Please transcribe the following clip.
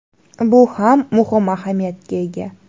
Bu ham muhim ahamiyatga ega.